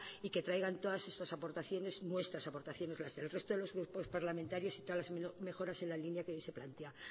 y que traigan todas esas aportaciones nuestras aportaciones las del resto de los grupos parlamentarios y todas las mejoras en la línea que hoy se plantea